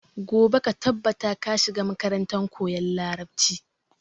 Gobe ka tabbata ka shiga makarantar koyan larabci!